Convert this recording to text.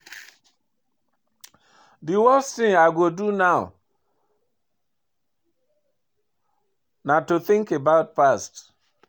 Di worst thing I go do now na to think about past.